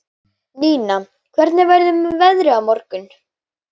Nína, hvernig verður veðrið á morgun?